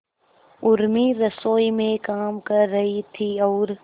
उर्मी रसोई में काम कर रही थी और